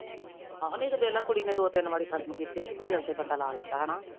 ਆਹੋ ਨਹੀਂ ਤੇ ਵੇਖਲਾ ਕੁੜੀ ਨੇ ਦੋ ਤਿੰਨ ਵਾਰੀ ਖਸਮ ਕੀਤੇ ਨਹੀਂ ਤੇ ਦਿਲ ਤੇ ਬੰਦਾ ਲਾ ਲੈਂਦਾ ਹੈਨਾ